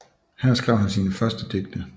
Her skrev han sine første digte